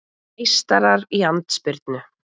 Meistarar í andspyrnu